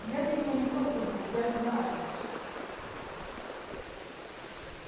я для него не просто друг я же знаю